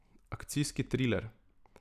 Akcijski triler.